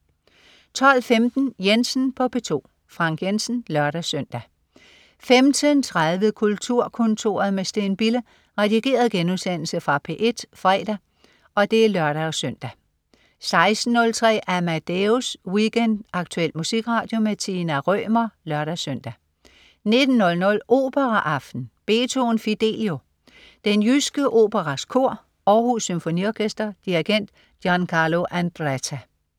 12.15 Jensen på P2. Frank Jensen (lør-søn) 15.30 Kulturkontoret med Steen Bille. Redigeret genudsendelse fra P1 fredag (lør-søn) 16.03 Amadeus Weekend. Aktuel musikradio. Tina Rømer (lør-søn) 19.00 Operaaften. Beethoven: Fidelio. Den jyske Operas Kor. Århus Symfoniorkester. Dirigent: Giancarlo Andretta